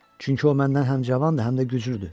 Çünki o məndən həm cavandır, həm də güclüdür.